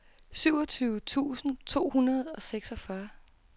syvogtyve tusind to hundrede og seksogfyrre